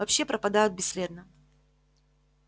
вообще пропадают бесследно